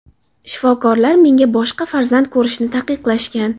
Shifokorlar menga boshqa farzand ko‘rishni taqiqlashgan.